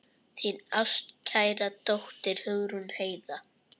Þín ástkæra dóttir, Hugrún Heiða.